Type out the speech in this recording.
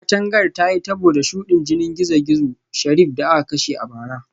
Katangar ta yi tabo da shudin jinin dan gizo-gizo Sheriff da aka kashe a bara